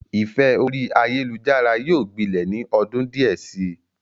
Ìfẹ́ orí ayélujára yóò gbilẹ̀ ni ọdún díẹ̀ si.